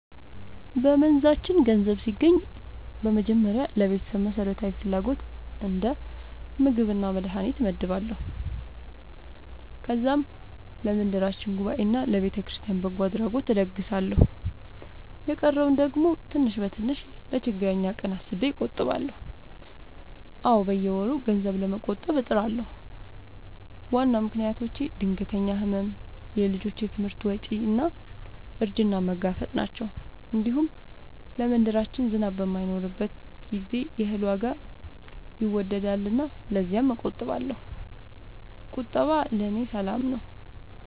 በመንዛችን ገንዘብ ሲገባኝ በመጀመሪያ ለቤተሰብ መሠረታዊ ፍላጎት እንደ ምግብና መድሀኒት እመድባለሁ። ከዛም ለመንደራችን ጉባኤና ለቤተክርስቲያን በጎ አድራጎት እለግሳለሁ። የቀረውን ደግሞ ትንሽ በትንሽ ለችግረኛ ቀን አስቤ እቆጥባለሁ። አዎ፣ በየወሩ ገንዘብ ለመቆጠብ እጥራለሁ። ዋና ምክንያቶቼ ድንገተኛ ሕመም፣ የልጆች ትምህርት ወጪ እና እርጅናን መጋፈጥ ናቸው። እንዲሁም ለመንደራችን ዝናብ በማይኖርበት ጊዜ የእህል ዋጋ ይወገሳልና ለዚያም እቆጥባለሁ። ቁጠባ ለእኔ ሰላም ነው።